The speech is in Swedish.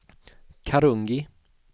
Karungi